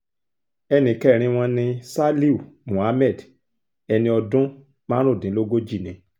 ẹnì kẹrin wọn ní ṣálíù muhammed ẹni ọdún márùndínlógójì ni